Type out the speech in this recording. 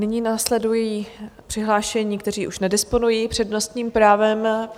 Nyní následují přihlášení, kteří už nedisponují přednostním právem.